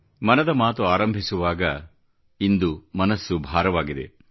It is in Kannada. ಮನದ ಮಾತು ಆರಂಭಿಸುವಾಗ ಇಂದು ಮನಸ್ಸು ಭಾರವಾಗಿದೆ